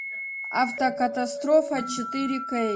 автокатастрофа четыре кей